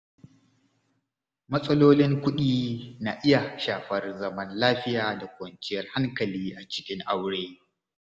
Matsalolin kuɗi na iya shafar zaman lafiya da kwanciyar hankali a cikin aure.